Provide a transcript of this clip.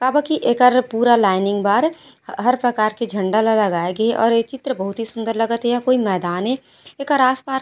काबर की एकर पूरा लाइनिंग बार हर प्रकार के झंडा ला लगाय गेहे और ये चित्र बहुत ही सुन्दर लगत हे या कोई मैदान हे एखर आस पास--